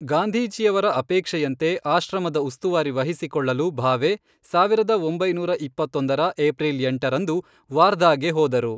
ಗಾಂಧೀಜಿಯವರ ಅಪೇಕ್ಷೆಯಂತೆ ಆಶ್ರಮದ ಉಸ್ತುವಾರಿ ವಹಿಸಿಕೊಳ್ಳಲು, ಭಾವೆ, ಸಾವಿರದ ಒಂಬೈನೂರ ಇಪ್ಪತ್ತೊಂದರ ಏಪ್ರಿಲ್ ಎಂಟರಂದು ವಾರ್ಧಾಗೆ ಹೋದರು.